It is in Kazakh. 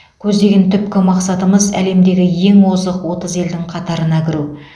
көздеген түпкі мақсатымыз әлемдегі ең озық отыз елдің қатарына кіру